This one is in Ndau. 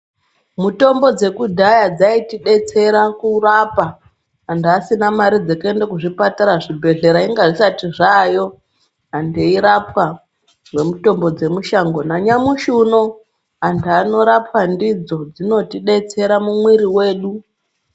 Mitombo dzekudhaya dzaitidetsera kurapa antu asina mare dzekuenda kuzvipatara zvibhedhlera inga zvisati zvaayo antu eirapwa ngemitombo dzemushango nanyamashi uno antu anorapwa ndidzo dzinotibetsera mukati mwemwiri wedu.